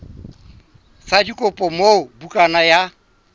sa dikopo moo bukana ya